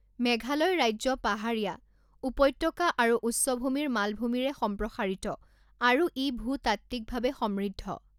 মেঘালয় ৰাজ্য পাহাৰীয়া, উপত্যকা আৰু উচ্চভূমিৰ মালভূমিৰে সম্প্ৰসাৰিত, আৰু ই ভূতাত্ত্বিকভাৱে সমৃদ্ধ।